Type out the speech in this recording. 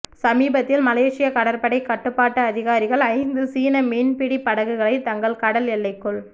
சமீபத்தில் மலேசிய கடற்படை கட்டுப்பாட்டு அதிகாரிகள் ஐந்து சீன மீன்பிடி படகுகளை தங்கள் கடல் எல்லைக்குள்